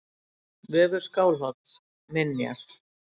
Vefur Skálholts: Minjar.